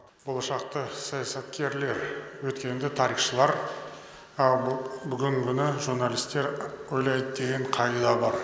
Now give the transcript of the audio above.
болашақты саясаткерлер өткенді тарихшылар ал бүгінгіні журналистер ойлайды деген қағида бар